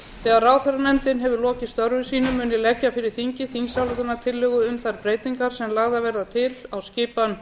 þegar ráðherranefndin hefur lokið störfum sínum mun ég leggja fyrir þingið þingsályktunartillögu um þær breytingar sem lagðar verða til á skipan